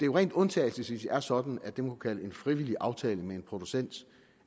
rent undtagelsesvis er sådan at det man kunne kalde en frivillig aftale med en producent